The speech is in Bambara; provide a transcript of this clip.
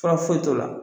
Fura foyi t'o la